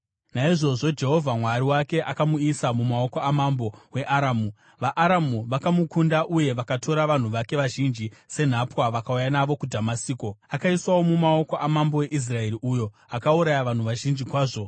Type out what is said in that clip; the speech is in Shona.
Naizvozvo Jehovha Mwari wake akamuisa mumaoko amambo weAramu. VaAramu vakamukunda uye vakatora vanhu vake vazhinji senhapwa vakauya navo kuDhamasiko. Akaiswawo mumaoko amambo weIsraeri uyo akauraya vanhu vazhinji kwazvo.